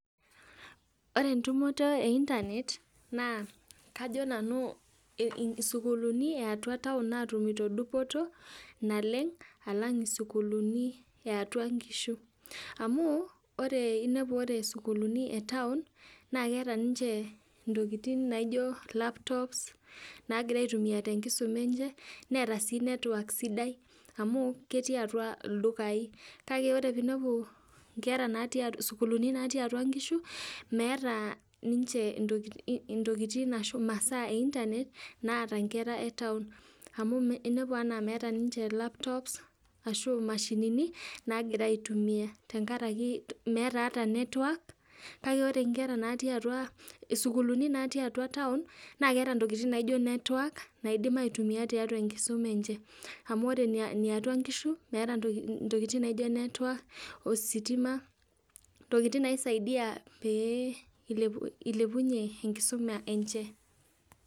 Ore entumoto ee internet naa kajo Nanu sukuuli natii atua town natumito dupoto naleng alang sukuuli natii atua nkishu amuu ore inepu ore sukuuli etown naa keeta ninche ntokitin naijo laptops nagira aitumia tenkisuma enche Neeta sii network sidai amu ketii atua ildukaii, kake ore piinepu inkera natii, sukuuli natii atua nkishu meeta ninche tokitin ashu imasaa naata nkera e town amu inepu meetaa ninche laptops ashu imashinini nagira aitumia tenkaraki meets ara network kake ore sukuuli natii atua town naa keeta network naidim aitumia tiatua enkisuma enche, amu ore niatua ngishu naa meeta tokitin naijo network, ositima, tokitin naisaidia piilepunyie enkisuma enche.